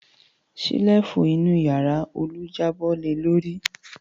Ṣẹ́lífù inú ìyàrá Olú jábọ́ le lórí.